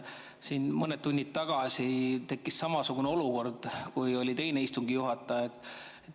Siin mõned tunnid tagasi tekkis samasugune olukord, kui oli teine istungi juhataja.